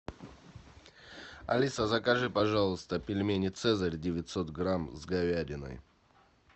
алиса закажи пожалуйста пельмени цезарь девятьсот грамм с говядиной